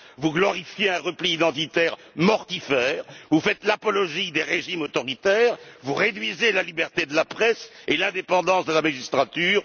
Vous glorifiez un repli identitaire mortifère, vous faites l'apologie des régimes autoritaires, vous réduisez la liberté de la presse et l'indépendance de la magistrature.